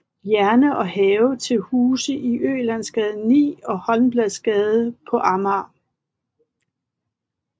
Jerne og havde til huse i Ølandsgade 9 og Holmbladsgade på Amager